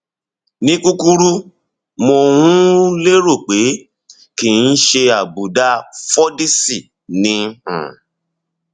ní kúkúrú mo um lérò pé kìí ṣe àbùdá fordyce ni um